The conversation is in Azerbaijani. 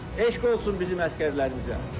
Eşq olsun bizim əsgərlərimizə!